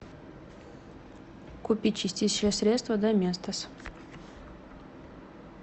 купи чистящее средство доместос